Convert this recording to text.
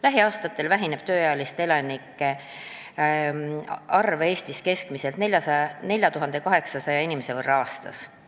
Lähiaastatel väheneb tööealiste elanike arv Eestis keskmiselt 4800 inimese võrra aastas.